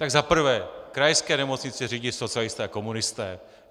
Tak za prvé, krajské nemocnice řídí socialisté a komunisté.